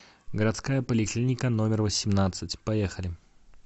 городская поликлиника номер восемнадцать поехали